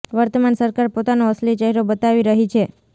વર્તમાન સરકાર પોતાનો અસલી ચહેરો બતાવી રહી છે